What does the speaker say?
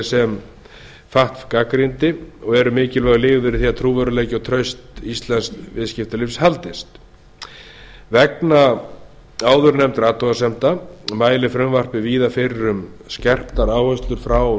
sem fatf gagnrýndi og eru mikilvægur liður í því að trúverðugleiki og traust íslensks viðskiptalífs haldist vegna áðurnefndra athugasemda fatf mælir frumvarpið víða fyrir um skerptar áherslur frá